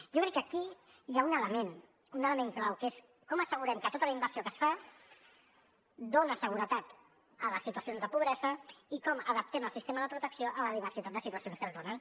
jo crec que aquí hi ha un element un element clau que és com assegurem que tota la inversió que es fa dona seguretat a les situacions de pobresa i com adaptem el sistema de protecció a la diversitat de situacions que es donen